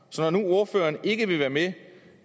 så når nu ordføreren ikke vil være med